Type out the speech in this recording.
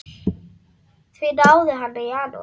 Því náði hann í janúar.